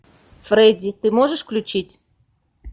фредди ты можешь включить